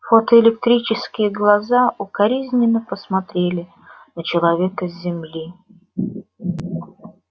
фотоэлектрические глаза укоризненно посмотрели на человека с земли